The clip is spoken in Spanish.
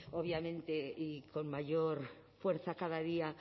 obviamente y con mayor fuerza cada día